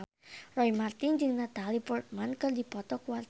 Roy Marten jeung Natalie Portman keur dipoto ku wartawan